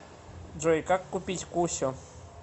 джой как купить кусю